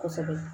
Kosɛbɛ